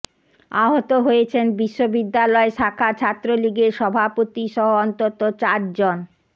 আহত হয়েছেন বিশ্ববিদ্যালয় শাখা ছাত্রলীগের সভাপতিসহ অন্তত চার জন